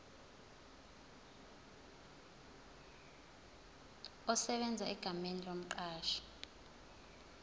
esebenza egameni lomqashi